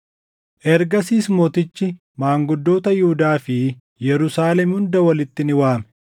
Ergasiis mootichi maanguddoota Yihuudaa fi Yerusaalem hunda walitti ni waame.